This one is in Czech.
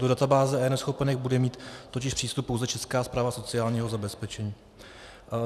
Do databáze eNeschopenek bude mít totiž přístup pouze Česká správa sociálního zabezpečení.